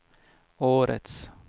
årets